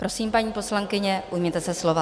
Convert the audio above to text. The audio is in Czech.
Prosím, paní poslankyně, ujměte se slova.